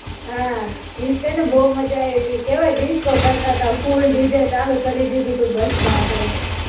હાં. ઈજ તે ને, બવ મજા આયવી તી કેવા disco કરતા તા full DJ ચાલુ કરી દીધું તુ બસમાં આપણે.